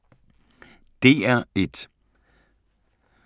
DR1